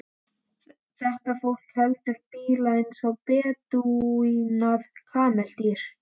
Þetta fólk heldur bíla eins og bedúínar kameldýr.